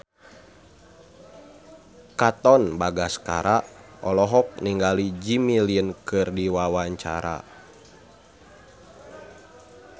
Katon Bagaskara olohok ningali Jimmy Lin keur diwawancara